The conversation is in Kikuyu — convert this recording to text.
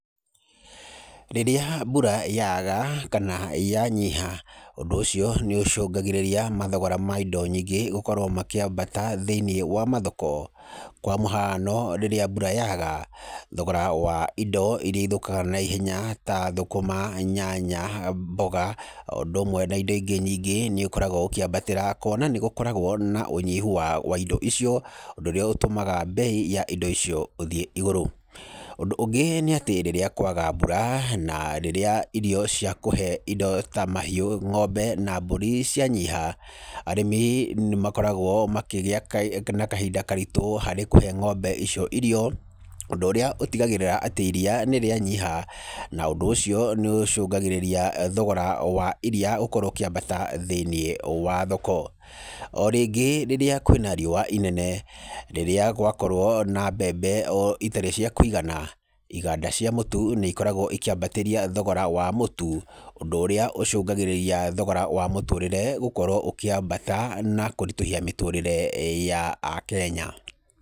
Rĩrĩa mbura yaga kana yanyiha, ũndũ ũcio nĩ ũcũngagĩrĩria mathogora ma indo nyingĩ gũkorwo makiambata thĩiniĩ wa mathoko. Kwa mũhano rĩrĩa mbura yaga, thogora wa indo iria ithũkaga naihenya ta thũkũma, nyanya, mboga oũndũ ũmwe na indo ingĩ nyingĩ nĩ ũkoragwo ũkĩambatĩra kwona nĩgũkoragwo na ũnyihu wa, wa indo icio ũndũ ũrĩa ũtũmaga bei ya indo icio ũthiĩ igũrũ. Ũndũ ũngĩ nĩatĩ rĩrĩa kwaga mbura na rĩrĩa irio cia kũhe indo ta mahiũ ng'ombe na mburi cianyiha, arĩmi nĩmakoragwo makĩgĩa kahi, na kahinda karitũ harĩ kũhe ng'ombe icio irio, ũndũ ũrĩa ũtigagĩrĩra atĩ iria nĩrĩanyiha na ũndũ ũcio nĩ ũcũngagĩrĩria thogora wa iria ũkorwo ũkĩambata thĩiniĩ wa thoko. Orĩngĩ rĩrĩa kwĩna riũwa inene, rĩrĩa gwakorwo na mbembe oũ, itarĩ cia kwĩgana iganda cia mũtu nĩ ikoragwo ikĩambatĩria thogora wa mũtu, ũndũ ũrĩa ũcũngagĩrĩria thogora wa mũtũrĩre gũkorwo ũkĩambata na kũritũhia mĩtũrĩre ya akenya.